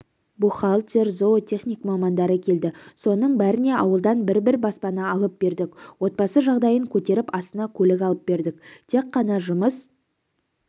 бухгалтер зоотехник мамандары келді соның бәріне ауылдан бір-бір баспана алып бердік отбасы жағдайын көтеріп астына көлік алып бердік тек қана жұмыс